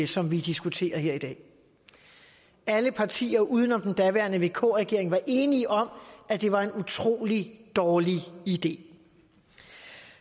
som vi diskuterer her i dag alle partier uden om den daværende vk regering var enige om at det var en utrolig dårlig idé